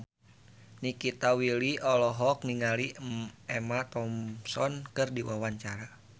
Nikita Willy olohok ningali Emma Thompson keur diwawancara